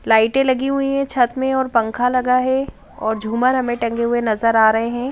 लाइटें लगी हुई है छत में और पंखा लगा है और झूमर हमें टंगे हुए नजर आ रहे हैं ।